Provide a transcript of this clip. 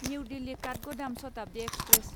new Delhi Kathgodam Shatabdi express